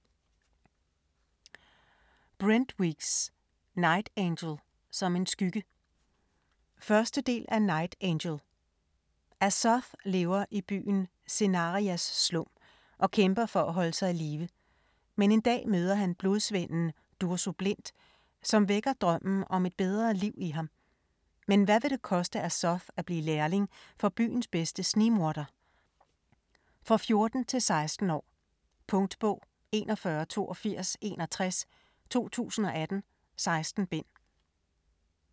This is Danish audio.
Weeks, Brent: Night angel - som en skygge 1. del af Night angel. Azoth lever i byen Cenarias Slum, og kæmper for at holde sig i live. Men en dag møder han Blodsvenden Durzo Blint, som vækker drømmen om et bedre liv i ham. Men hvad vil det koste Azoth at blive lærling for byens bedste snigmorder? For 14-16 år. Punktbog 418261 2018. 16 bind.